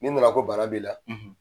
Ni nana ko bana b'i la